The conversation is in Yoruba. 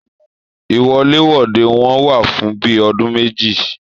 Iwọ̀lèwọ̀de wọn wà fún bíi ọdún méjì.